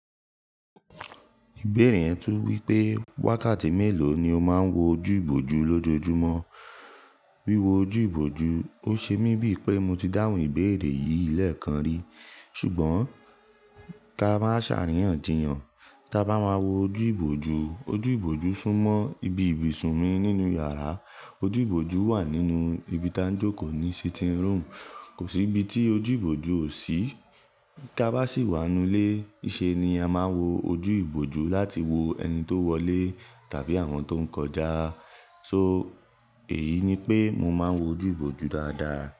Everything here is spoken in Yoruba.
Ìbéèrè yẹn tún wípé wákàtí mélòó ni ó máa ń wo ojú ìbòju lójoojúmọ́? Wíwo ojú ìbòju, ó ṣe mí bíi pé mo ti dáhùn ìbéèrè yìí lẹ́ẹ̀kan rí. Ṣùgbọ́n ká máa sàríyànjiyàn, ká bá máa wo ojú ìbòju, ojú ìbòju súnmọ́ ibi ibùsùn mi nínú yàrá, ojú ìbòju wà nínú ibi tá ń jókòó ní sitting room, kò sí ibi tí ojú ìbòju ò sí. Tá bá sì wá nu ilé, ìṣe ni a máa wo ojú ìbòju láti wo ẹni tó wọlé tàbí àwọn tó ń kọjá. So èyí ni pé mo máa ń wo ojú ìbòju dáadáa.